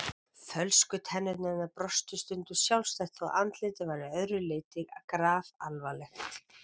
Fölsku tennurnar hennar brostu stundum sjálfstætt þótt andlitið væri að öðru leyti grafalvarlegt.